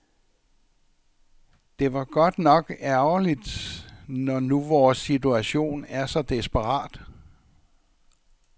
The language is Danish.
Det var godt nok ærgerligt, når nu vores situation er så desperat.